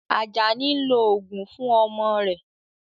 Ajani ń lo oògùn fún ọmọ rẹ̀